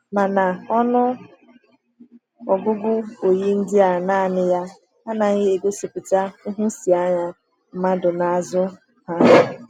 Mana ọnụ ọgụgụ oyi ndị a naanị ya anaghị egosipụta nhụsianya mmadụ n’azụ ha.